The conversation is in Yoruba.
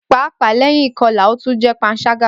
Paapaa lẹhin ikọla, o tun jẹ panṣaga.